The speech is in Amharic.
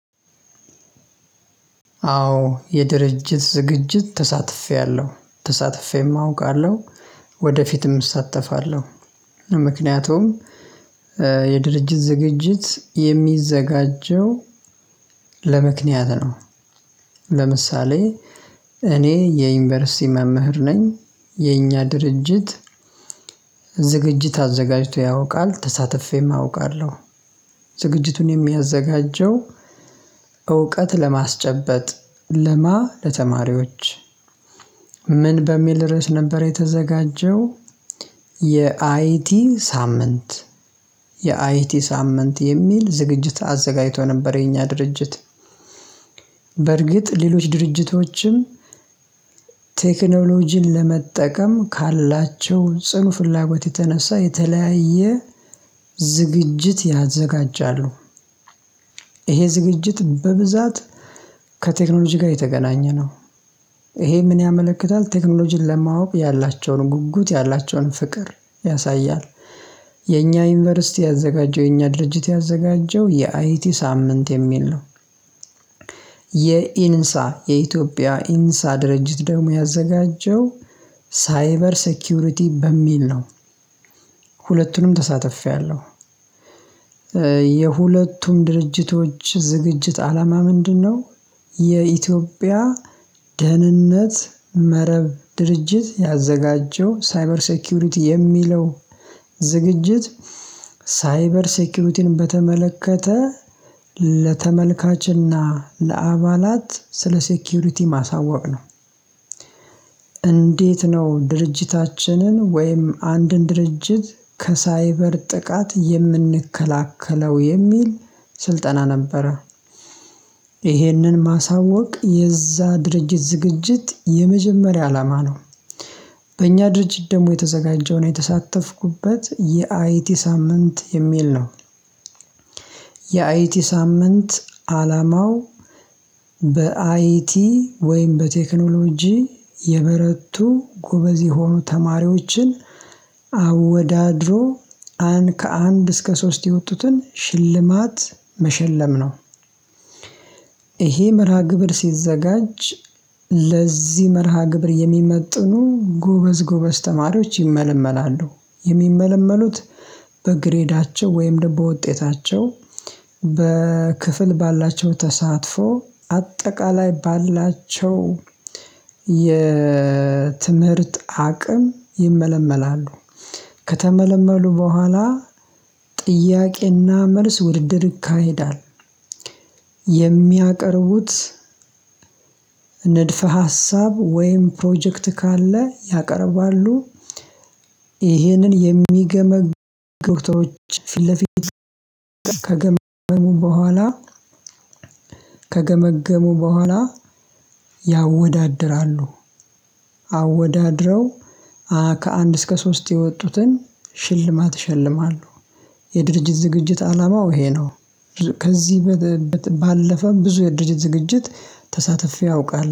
አዎ የድርጅት ዝግጅት ተሳትፌያለሁ ተሳትፌም አውቃለሁ ወደፊትም እሳተፋለሁ። ምክንያቱም የድርጅት ዝግጅት የሚዘጋጀው ለምክንያት ነው። ለምሳሌ እኔ የዩኒቨርሲቲ መምህር ነኝ የኛ ድርጅት ዝግጅት አዘጋጅቶ ያውቃል። ተሳትፌም አውቃለሁ። ዝግጅቱን የሚያዘጋጀው እውቀት ለማስጨበጥ ለማ ለተማሪዎች ምን በሚል ርዕስ ነበር የተዘጋጀው። የአይቲ ሳምንት የአይቲ ሳምንት የሚል ዝግጅት አዘጋጅቶ ነበር የኛ ድርጅት። በርግጥ ሌሎች ድርጅቶችም ቴክኖሎጂን ለመጠቀም ካላቸው ጽኑ ፍላጎት የተነሳ የተለያየ ዝግጅት ያዘጋጃሉ። ይሄ ዝግጅት በብዛት ከቴክኖሎጂ ጋር የተገናኘ ነው። ይሄ ምን ያመለክታል ቴክኖሎጂን ለማወቅ ያላቸውን ጉጉት ያላቸውን ፍቅር ያሳያል። የኛ ዩኒቨርሲቲ ያዘጋጀው የኛ ድርጅት ያዘጋጀው የአይቲ ሳምንት የሚል ነው። የኢንሳ የኢትዮጵያ ኢንሳ ድርጅት ደግሞ ያዘጋጀው ሳይበር ሴኩሪቲ በሚል ነው። ሁለቱንም ተሳትፌያለሁ። የሁለቱም ድርጅቶች ዝግጅት አላማ ምንድነው? የኢትዮጵያ ደህንነት መረብ ድርጅት ያዘጋጀው ሳይበር ሴኩሪቲ የሚለው ዝግጅት ሳይበር ሴኩሪቲን በተመለከተ ለተመልካችና ለአባላት ስለ ሴኩሪቲ ማሳወቅ ነው አሳወቅነው። እንዴት ነው ድርጅታችንን ወይም አንድን ድርጅት ከሳይበር ጥቃት የምንከላከለው የሚል ስልጠና ነበረ። ይህንን ማሳወቅ የዛ ድርጅት ዝግጅት የመጀመሪያ አላማ ነው። በእኛ ድርጅት ደግሞ የተዘጋጀውን የተሳተፍኩበት የአይቲ ሳምንት የሚል ነው። የአይቲ ሳምንት አላማው በአይቲ ወይም በቴክኖሎጂ የበረቱ ጎበዝ የሆኑ ተማሪዎችን አወዳድሮ አንድ ከአንድ እስከ ሶስት የወጡትን ሽልማት መሸለም ነው። ይሄ መርሃ ግብር ሲዘጋጅ ለዚህ መርሃ ግብር የሚመጥኑ ጎበዝ ጎበዝ ተማሪዎች ይመለመላሉ። የሚመለመሉት በግሬዳቸው ወይም በውጤታቸው በክፍል ባላቸው ተሳትፎ አጠቃላይ ባላቸው የትምህርት አቅም ይመለመላሉ። ከተመለመሉ በኋላ ጥያቄና መልስ ውድድር ይካሄዳል። የሚያቀርቡት ንድፈ ሀሳብ ወይም ፕሮጀክት ካለ ያቀርባሉ። ይሄንን የሚገመግ ዶክተሮች ፊት ለፊት ከገመግ በኋላ ከገመገሙ በኋላ ያወዳድራሉ። አወዳድረው ከአንድ እስከ ሶስት የወጡትን ሽልማት ይሸልማሉ። የድርጅት ዝግጅት አላማው ይሄ ነው። ከዚህ ባለፈ ብዙ የድርጅት ዝግጅት ተሳትፌ አውቃለሁ